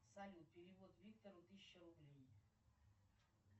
салют перевод виктору тысяча рублей